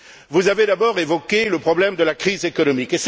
Vous avez d'abord évoqué le problème de la crise économique.